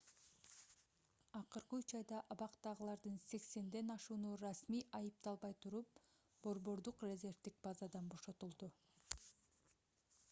акыркы 3 айда абактагылардын 80 ашууну расмий айыпталбай туруп борбордук резервдик базадан бошотулду